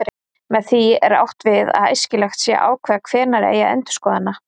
Með því er átt við að æskilegt sé að ákveða hvenær eigi að endurskoða hana.